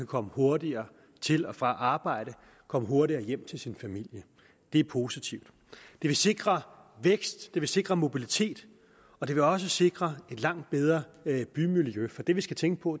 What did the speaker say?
komme hurtigere til og fra arbejde og komme hurtigere hjem til sin familie det er positivt det vil sikre vækst det vil sikre mobilitet og det vil også sikre et langt bedre bymiljø for det vi skal tænke på